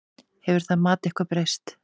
Hefur það mat eitthvað breyst?